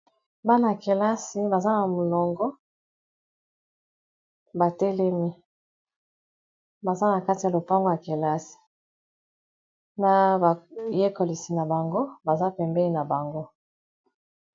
bana yakelasi baza na molongo batelemi baza na kati ya lopango ya kelasi na bayekolisi na bango baza pembeni na bango